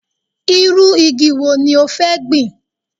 Irú igi wo ní o fẹ́ gbin